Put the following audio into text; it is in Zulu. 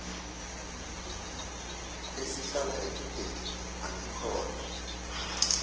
esihlala ekudeni angikholwa